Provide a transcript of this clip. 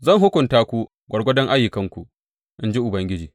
Zan hukunta ku gwargwadon ayyukanku, in ji Ubangiji.